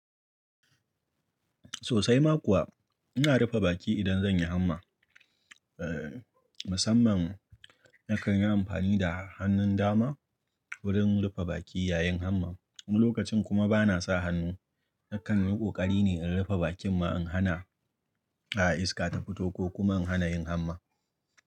Sosai ma kuwa ina rufe baki idan zan yi hamma. Eh, musamman na kan yi amfani da hannun dama wurin rufe baki yayin hamma. Lokacin kuma ba na sa hannu, na kan yi ƙokari ne in rufe bakin ma in hana, ah, iska ta fito ko kuma in hana yin hamma.